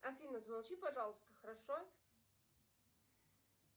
афина замолчи пожалуйста хорошо